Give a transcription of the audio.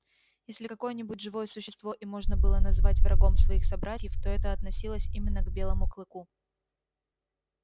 если какое-нибудь живое существо и можно было назвать врагом своих собратьев то это относилось именно к белому клыку